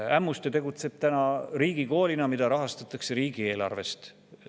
Ämmuste tegutseb täna riigikoolina, mida rahastatakse riigieelarvest.